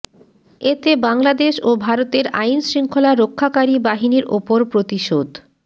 এতে বাংলাদেশ ও ভারতের আইনশৃঙ্খলা রক্ষাকারী বাহিনীর ওপর প্রতিশোধ